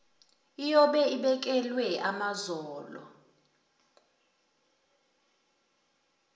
iyobe ibekelwe amazolo